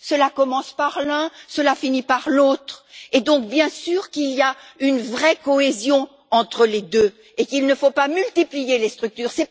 Cela commence par l'un, cela finit par l'autre et, donc, bien sûr, il y a une vraie cohésion entre les deux et il ne faut pas multiplier les structures.